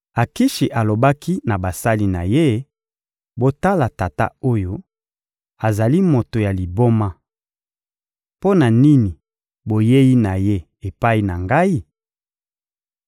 Akishi alobaki na basali na ye: «Botala tata oyo, azali moto ya liboma! Mpo na nini boyei na ye epai na ngai?